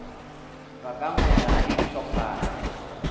ba ka ngwega le dihlophana